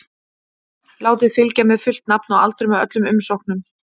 Látið fylgja með fullt nafn og aldur með öllum umsóknum.